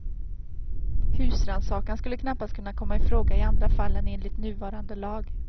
Husrannsakan skulle knappast kunna komma i fråga i andra fall än enligt nuvarande lag.